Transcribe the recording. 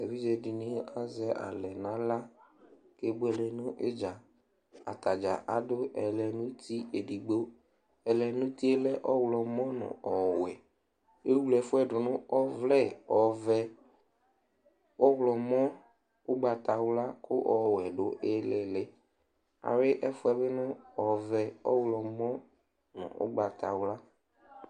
Evidze dɩnɩ azɛ alɛ nʋ aɣla kebuele nʋ ɩdza Ata dza adʋ ɛlɛnʋti edigbo Ɛlɛnʋti yɛ lɛ ɔɣlɔmɔ nʋ ɔwɛ Ewle ɛfʋ yɛ dʋ nʋ ɔvlɛ ɔvɛ, ɔɣlɔmɔ, ʋgbatawla kʋ ɔwɛ dʋ ɩɩlɩ ɩɩlɩ Ayʋɩ ɛfʋ yɛ bɩ nʋ ɔvɛ, ɔɣlɔmɔ nʋ ʋgbatawla